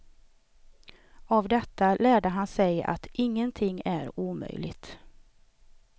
Av detta lärde han sig att ingenting är omöjligt.